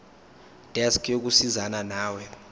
desk yokusizana nawe